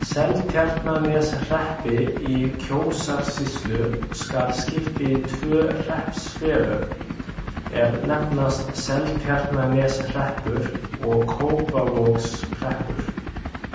Seltjarnarneshreppi í Kjósarsýslu skal skipt í tvö hreppsfélög, er nefnast Seltjarnarneshreppur og Kópavogshreppur.